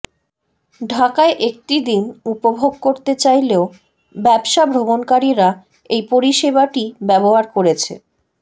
ঢাকায় একটি দিন উপভোগ করতে চাইলেও ব্যবসা ভ্রমণকারীরা এই পরিষেবাটি ব্যবহার করেছে